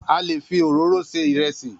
A le fi òróró se ìrẹsì.